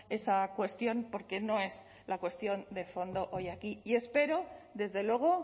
esa cuestión porque no es la cuestión de fondo hoy aquí y espero desde luego